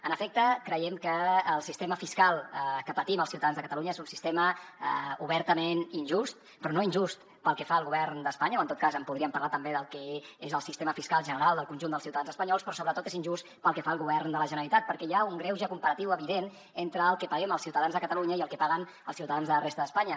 en efecte creiem que el sistema fiscal que patim els ciutadans de catalunya és un sistema obertament injust però no injust pel que fa al govern d’espanya o en tot cas en podríem parlar també del que és el sistema fiscal general del conjunt dels ciutadans espanyols però sobretot és injust pel que fa al govern de la generalitat perquè hi ha un greuge comparatiu evident entre el que paguem els ciutadans de catalunya i el que paguen els ciutadans de la resta d’espanya